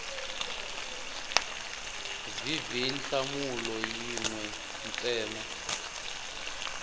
vv nhlamulo yin we ntsena